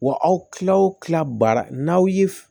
Wa aw tilaw tila baara n'aw ye